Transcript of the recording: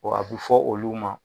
bɔn a be fɔ olu ma